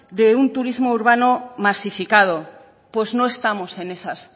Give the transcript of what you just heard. de un turismo urbano masificado pues no estamos en esas